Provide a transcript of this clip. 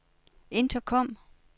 intercom